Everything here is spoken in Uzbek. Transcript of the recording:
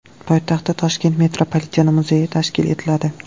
Poytaxtda Toshkent metropoliteni muzeyi tashkil etiladi.